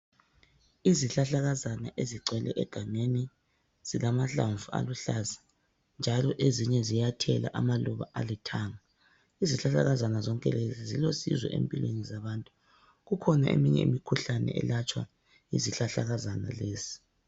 izihlahlakazana ezigcwele egangeni zilamahlamvu aluhlaza njalo ezinye ziyathela amaluba alithanga izihlahlakazana zonke lezi zilosizo empilweni zabantu kukhona eminye imikhuhlane elatshwa yizihlahlakazana lezi